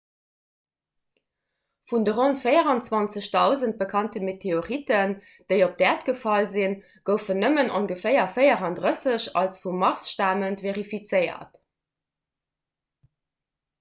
vun de ronn 24 000 bekannte meteoriten déi op d'äerd gefall sinn goufen nëmmen ongeféier 34 als vum mars stamend verifizéiert